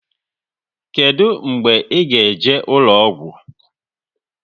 Kedụ mgbe ị ga eje ụlọgwụ?